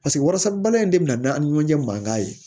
Paseke wariso balima in de bɛna an ni ɲɔgɔn cɛ mankan ye